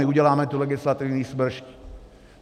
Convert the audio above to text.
My uděláme tu legislativní smršť.